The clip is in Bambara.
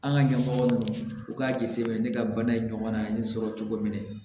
An ka ɲɛmɔgɔ ninnu u k'a jateminɛ ne ka bana in ɲɔgɔnna ni sɔrɔ cogo min na